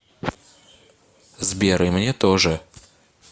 сбер и мне тоже